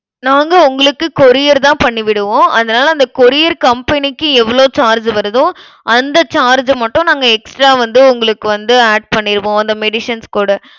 நாங்க உங்களுக்கு courier தான் பண்ணி விடுவோம். அதனால, அந்த courier company க்கு, எவ்ளோ charge வருதோ அந்த charge ஐ மட்டும் நாங்க extra வந்து உங்களுக்கு வந்து add பண்ணிருவோம். அந்த medicines கூட